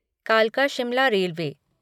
कालका शिमला रेलवे